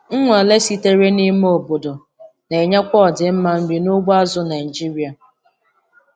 Nnwale sitere n'ime obodo na-echekwa ọdịmma nri n'ugbo azụ̀ Naịjiria.